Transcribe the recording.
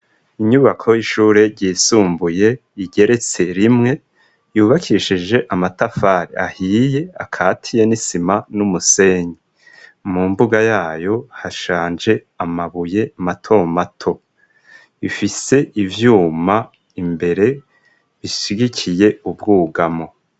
Inyubako y'ishure ryisumbuye igeretse rimwe yubakishije amatafari ahiye akatiye n'isima n'umusenyi mu mbuga yayo hashanje amabuye matomato ifise ivyuma imbere bisigikiye ubwougamu.